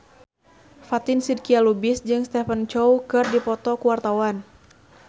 Fatin Shidqia Lubis jeung Stephen Chow keur dipoto ku wartawan